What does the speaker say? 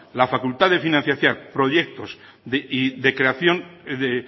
la facultad de financiar